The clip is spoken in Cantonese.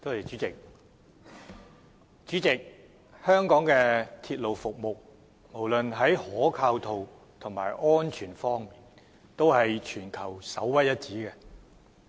主席，香港的鐵路服務無論在可靠度和安全性方面均屬全球首屈一指。